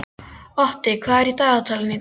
Otti, hvað er í dagatalinu í dag?